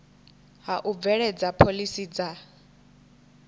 ha u bveledza phoḽisi dza